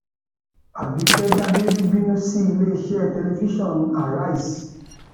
àbìkẹ dábírí bínú sí iléeṣẹ tẹlifíṣàn àrísé